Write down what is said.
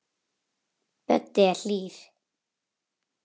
Böddi er hlýr.